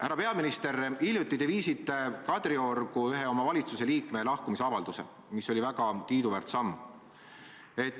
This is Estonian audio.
Härra peaminister, hiljuti viisite te Kadriorgu ühe oma valitsuse liikme lahkumisavalduse, mis oli väga kiiduväärt samm.